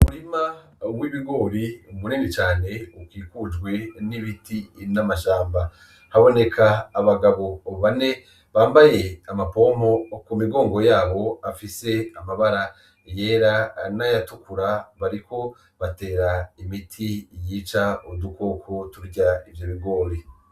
Umirima w'ibigori munini cane ukikujwe n'ibiti n'amashamba haboneka abagabo bane bambaye amapompo mumigongo yabo afise amabara yera n'ayatukura bariko batera imiti yica udukoko turya ivyo bigori